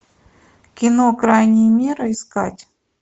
ы